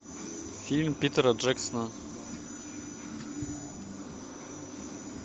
фильм питера джексона